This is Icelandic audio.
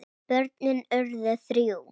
Börnin urðu þrjú.